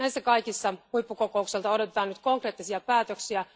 Näissä kaikissa huippukokoukselta odotetaan nyt konkreettisia päätöksiä.